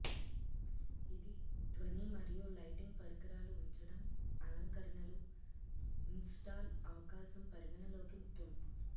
ఇది ధ్వని మరియు లైటింగ్ పరికరాలు ఉంచడం అలంకరణలు ఇన్స్టాల్ అవకాశం పరిగణలోకి ముఖ్యం